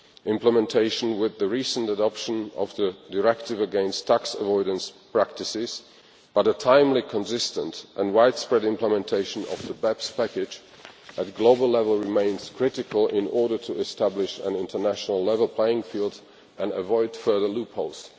implementation with the recent adoption of the Anti Tax Avoidance Directive but timely, consistent and widespread implementation of the BEPS package at global level remains critical in order to establish an international level playing field and avoid further loopholes.